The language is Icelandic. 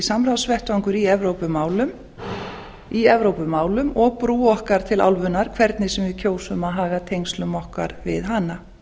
samráðsvettvangur í evrópumálum og brú okkar til álfunnar hvernig sem við kjósum að haga tengslum okkur við hana